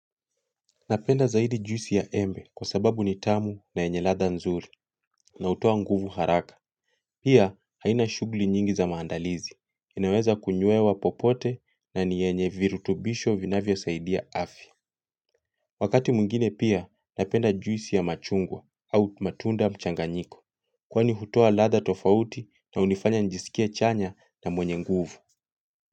Napenda zaidi juisi ya embe kwa sababu ni tamu na yenye ladha nzuri na hutoa nguvu haraka. Pia haina shughuli nyingi za maandalizi. Inaweza kunywewa popote na yenye virutubisho vinavyosaidia afya. Wakati mwingine pia napenda juisi ya machungwa au matunda mchanganyiko. Kwani hutoa ladha tofauti na hunifanya nijisikie chanya na mwenye nguvu.